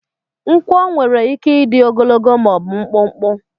Nkwọ nwere ike ịdị ogologo ma ọ bụ mkpụmkpụ.